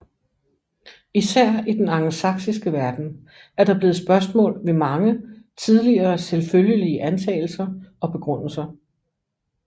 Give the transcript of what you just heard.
Især i den angelsaksiske verden er der blevet stillet spørgsmål ved mange tidligere selvfølgelige antagelser og begrundelser